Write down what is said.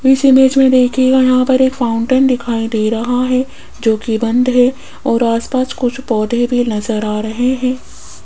इस इमेज में देखिएगा यहां पर एक फाउंटेन दिखाई दे रहा है जोकि बंद है और आसपास कुछ पौधे भी नज़र आ रहे हैं।